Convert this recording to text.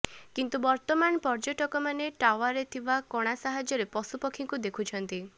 କିନ୍ତୁ ବର୍ତମାନ ପର୍ଯ୍ୟଟକମାନେ ଟାୱାରରେ ଥିବା କଣା ସାହାଯ୍ୟରେ ପଶୁପକ୍ଷୀଙ୍କୁ ଦେଖୁଛନ୍ତି